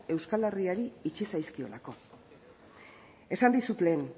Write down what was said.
euskal herriari itxi zaizkiolako esan dizut lehen